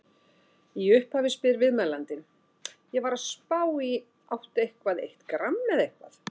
Í upphafi spyr viðmælandinn: Ég var að spá í áttu eitthvað eitt gramm eða eitthvað?